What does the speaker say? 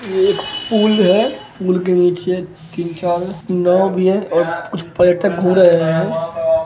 ये एक पुल है पुल के निचे तीन चार नाव भी है और कुछ पर्यटक घूम रहे हैं ।